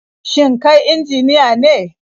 Shin kai injiniya ne?